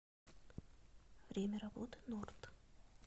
время работы норд